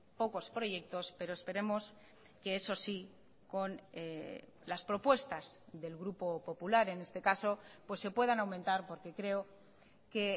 pocos proyectos pero esperemos que eso sí con las propuestas del grupo popular en este caso pues se puedan aumentar porque creo que